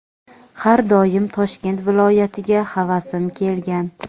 har doim Toshkent viloyatiga havasim kelgan.